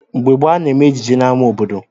Mgbe gboo, a na-eme ejije n'ámá obodo.